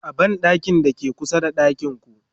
a banɗakin da ke kusa da ɗakinku